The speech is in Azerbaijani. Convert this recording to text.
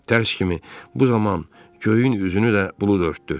Tərs kimi bu zaman göyün üzünü də bulud örtdü.